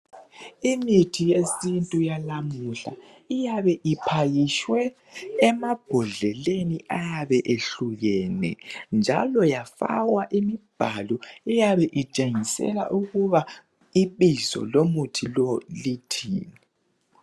Imithi yesintu eyalamuhla iyabe iphakitshwe emabhodleleni ayabe ehlukeni, njalo yafakwa imibhalo eyabeetshengisela ukuthi ibizo lomuthi lowo lithini.